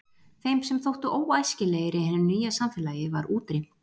Þeim sem þóttu óæskilegir í hinu nýja samfélagi var útrýmt.